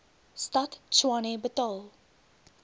stad tshwane betaal